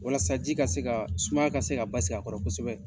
Walasa ji ka se ka sumaya ka se ka basigi a kɔrɔ kosɛbɛ.